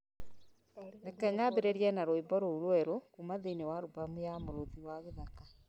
Reke nyambĩrĩrie na rwĩmbo rũu rũerũ kuuma thĩinĩ wa albamu ya Mũrũthi wa githaka